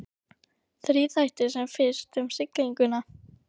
Þrír þættir, sá fyrsti um siglinguna.